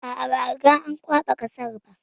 A a, ba a riga an kwaɓa kasar ba.